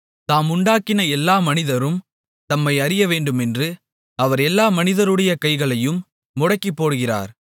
தாம் உண்டாக்கின எல்லா மனிதரும் தம்மை அறியவேண்டுமென்று அவர் எல்லா மனிதருடைய கைகளையும் முடக்கிப்போடுகிறார்